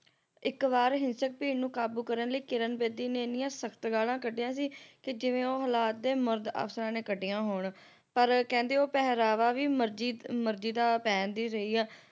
ਇਕ ਵਾਰ ਹਿੰਸਕ ਭੀੜ ਨੂੰ ਕਾਬੂ ਕਰਨ ਲਈ ਕਿਰਨ ਬੇਦੀ ਨੇ ਇੰਨੀਆਂ ਸਖਤ ਗਾਲਾਂ ਕੱਢੀਆਂ ਸੀ ਜਿਵੇਂ ਉਹ ਹਲਾਤ ਦੇ ਮਰਦ ਅਫਸਰਾਂ ਨੇ ਕੱਢੀਆਂ ਹੋਣ ਪਰ ਕਹਿੰਦੇ ਉਹ ਪਹਿਰਾਵਾ ਵੀ ਮਰਜੀ ਮਰਜੀ ਦਾ ਪਹਿਣਦੀ ਸੀ